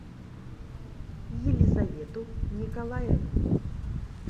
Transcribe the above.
елизавету николаевну